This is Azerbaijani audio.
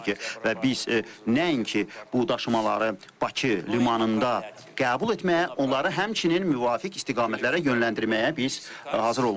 Və biz nəinki bu daşımaları Bakı limanında qəbul etməyə, onları həmçinin müvafiq istiqamətlərə yönləndirməyə biz hazır olmalıyıq.